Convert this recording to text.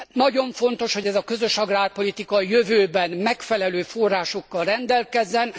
Nagyon fontos, hogy ez a közös agrárpolitika a jövőben megfelelő forrásokkal rendelkezzen.